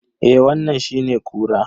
Eh wannan shine kura.